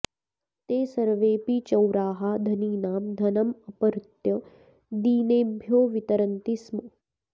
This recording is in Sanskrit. ते सर्वेऽपि चौराः धनिनां धनमपहृत्य दीनेभ्यो वितरन्ति स्म